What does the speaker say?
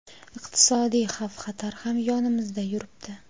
iqtisodiy xavf-xatar ham yonimizda yuribdi.